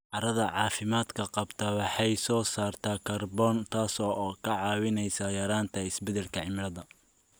Carrada caafimaadka qabta waxay soo saartaa kaarboon, taasoo ka caawinaysa yaraynta isbeddelka cimilada.